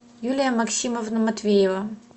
юлия максимовна матвеева